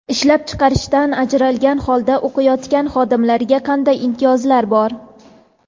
Ishlab chiqarishdan ajralgan holda o‘qiyotgan xodimlarga qanday imtiyozlar bor?.